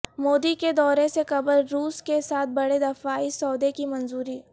مودی کے دورے سے قبل روس کے ساتھ بڑے دفاعی سودے کی منظوری